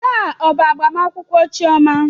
Taa ọ bụ agbamakwụkwọ chioma?